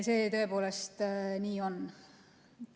See tõepoolest nii on.